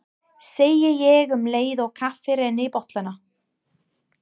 segi ég um leið og kaffið rennur í bollana.